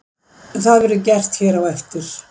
Það verður gert hér á eftir.